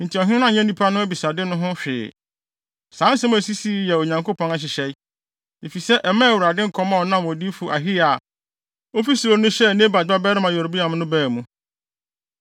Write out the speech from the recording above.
Enti ɔhene no anyɛ nnipa no abisade no ho hwee. Saa nsɛm a esisii yi yɛ Onyankopɔn nhyehyɛe, efisɛ ɛmaa Awurade nkɔm a ɔnam odiyifo Ahiya a ofi Silo no hyɛɛ Nebat babarima Yeroboam no baa mu.